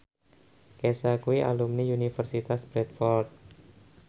Kesha kuwi alumni Universitas Bradford